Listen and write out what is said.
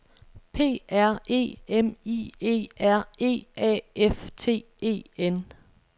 P R E M I E R E A F T E N